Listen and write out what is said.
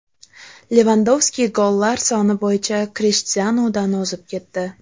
Levandovski gollar soni bo‘yicha Krishtianudan o‘zib ketdi.